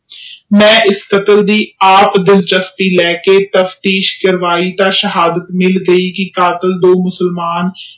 ਮੈਂ ਇਸ ਗੱਲ ਦੀ ਆਪ ਤਾਬਦਿਸ਼ ਕਰਵਾਈ ਤਾ ਸ਼ਹਾਦਤ ਕਰ ਦਿਤੀ ਕਿ ਕਤਲ ਦੋ